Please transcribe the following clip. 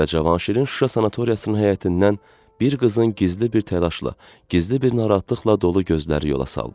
Və Cavanşirin Şuşa sanatoriyasının həyətindən bir qızın gizli bir təlaşla, gizli bir narahatlıqla dolu gözləri yola saldı.